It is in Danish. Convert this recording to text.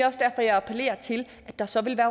også derfor jeg appellerer til at der så vil